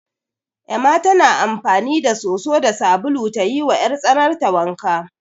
Ema tana amfani da soso da sabulu ta yiwa 'yartsanarta wanka.